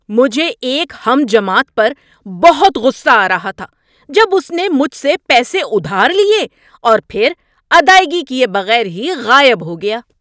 مجھے ایک ہم جماعت پر بہت غصہ آ رہا تھا جب اس نے مجھ سے پیسے ادھار لیے اور پھر ادائیگی کیے بغیر ہی غائب ہو گیا۔